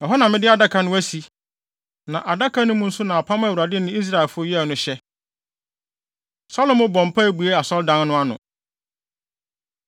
Ɛhɔ na mede Adaka no asi, na Adaka no mu nso na apam a Awurade ne Israelfo yɛe no hyɛ.” Salomo Bɔ Mpae Bue Asɔredan No Ano